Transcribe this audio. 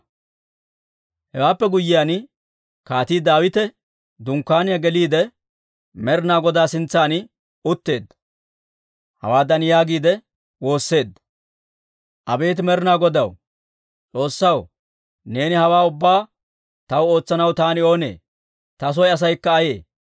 Hewaappe guyyiyaan, Kaatii Daawite dunkkaaniyaa geliide, Med'inaa Godaa sintsan utteedda. Hawaadan yaagiide woosseedda; «Abeet Med'inaa Godaw, S'oossaw, neeni hawaa ubbaa taw ootsanaw taani oonee? Ta soy asaykka ayee?